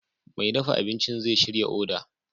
Mai dafa abinci zai shirya odar